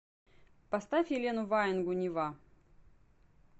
поставь елену ваенгу нева